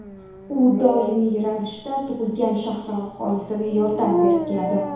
U doimiy ravishda tug‘ilgan shahri aholisiga yordam berib keladi.